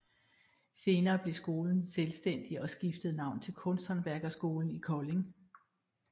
Senere blev skolen selvstændig og skiftede navn til Kunsthåndværkerskolen i Kolding